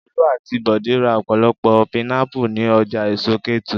Olú àti Bọ̀dé ra ọ̀pọ̀lọpọ̀ pinápù ní ọjà èso Kétu.